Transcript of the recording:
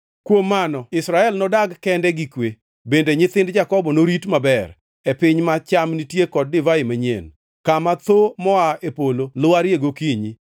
Kuom mano Israel nodag kende gi kwe; bende nyithind Jakobo norit maber, e piny ma cham nitie kod divai manyien, kama thoo moa e polo lwarie gokinyi.